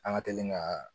An ka teli ka